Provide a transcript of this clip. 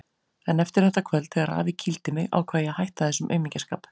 En eftir þetta kvöld, þegar afi kýldi mig, ákvað ég að hætta þessum aumingjaskap.